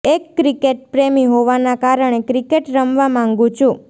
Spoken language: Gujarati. એક ક્રિકેટ પ્રેમી હોવાના કારણે ક્રિકેટ રમવા માંગું છું